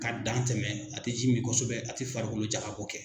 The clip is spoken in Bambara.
Ka dan tɛmɛ a tɛ ji min kosɛbɛ a tɛ farikolo jakabɔ kɛ.